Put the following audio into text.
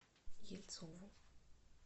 ельцову